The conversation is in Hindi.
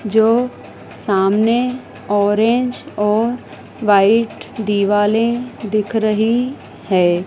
जो सामने ऑरेंज और व्हाइट दिवाले दिख रही है।